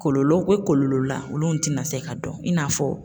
Kɔlɔlɔw be kɔlɔlɔ la olu tɛna se ka dɔn in n'a fɔ